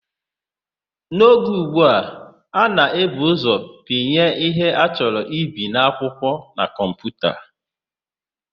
N'oge ụgbu a, a na-ebu ụzọ pinye ihe a chọrọ ibi n'akwụkwọ na kọmputa.